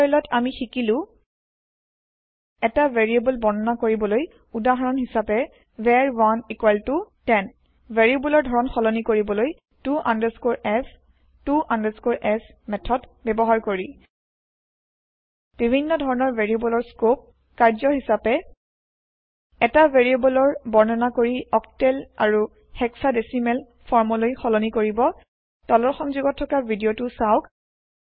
এই টিওটৰিয়েলত আমি শিকিলো এটা ভেৰিয়েব্ল বৰ্ণনা কৰিবলৈ ঊদাহৰন হিচাপে var110 ভেৰিয়েব্লৰ ধৰণ সলনি কৰিবলৈ to f to s method ব্যৱহাৰ কৰি বিভিন্ন ধৰণৰ ভেৰিয়েব্লৰ স্কোপ কাৰ্য্য হিচাপে এটা ভেৰিয়েব্ল বৰ্ণনা কৰি অক্টেল আৰু হেক্সাডেচিমেল ফৰ্ম লৈ সলনি কৰিব তলৰ সংযোগত থকা ভিদিয়তো চাওক